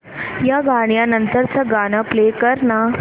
या गाण्या नंतरचं गाणं प्ले कर ना